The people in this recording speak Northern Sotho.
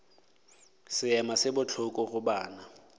seema se bohloko go banna